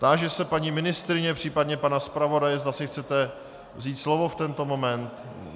Táži se paní ministryně, případně pana zpravodaje, zda si chcete vzít slovo v tento moment.